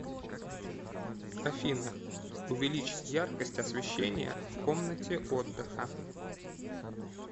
афина увеличь яркость освещения в комнате отдыха